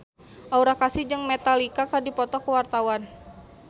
Aura Kasih jeung Metallica keur dipoto ku wartawan